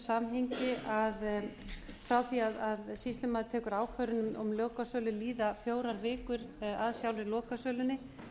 samhengi að frá því að sýslumaður tekur ákvörðun um lokasölu líða fjórar vikur að sjálfri lokasölunni